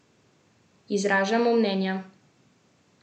Izražamo mnenja.